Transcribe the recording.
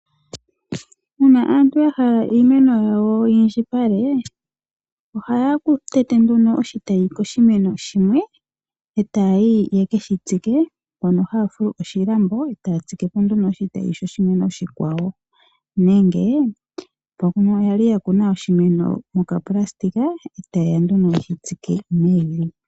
Uuna aantu ya hala iimeno yawo ya indjipale ohaya tete nduno oshitayi koshimeno shimwe etaya yi yeke shi tsike mpono haya fulu po oshilambo etaya tsike po nduno oshimeno shoshi tayi oshikwawo, nenge mbono yali ya kuna oshimeno moka pulasitika etaye ya nduno yeshi tsike mevi.